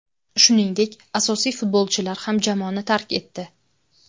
Shuningdek, asosiy futbolchilar ham jamoani tark etdi.